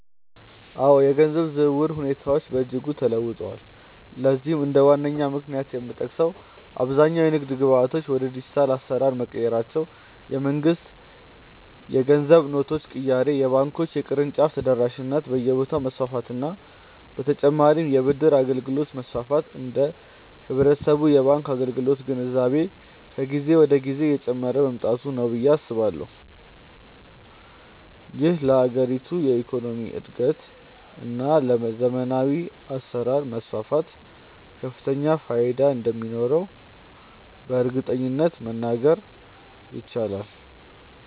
አዎ፣ የገንዘብ ዝውውር ሁኔታዎች በእጅጉ ተለውጠዋል። ለዚህም እንደ ዋነኛ ምክንያት የሚጠቀሰው አብዛኛው የንግድ ግብይቶች ወደ ዲጂታል አሰራር መቀየራቸው፣ የመንግስት የገንዘብ ኖቶች ቅያሬ፣ የባንኮች የቅርንጫፍ ተደራሽነት በየቦታው መስፋፋት በ ተጨማርም የ ብድር አገልግሎት መስፋፋት እና የህብረተሰቡ የባንክ አገልግሎት ግንዛቤ ከጊዜ ወደ ጊዜ እየጨመረ መምጣቱ ነው ብዬ አስባለሁ። ይህም ለሀገሪቱ የኢኮኖሚ እድገት እና ለዘመናዊ አሰራር መስፋፋት ከፍተኛ ፋይዳ እንደሚኖረውም በእርግጠኝነት መናገር ይቻላል።